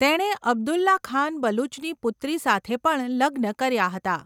તેણે અબ્દુલ્લા ખાન બલુચની પુત્રી સાથે પણ લગ્ન કર્યા હતા.